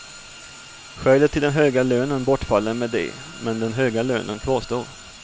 Skälet till den höga lönen bortfaller med det, men den höga lönen kvarstår.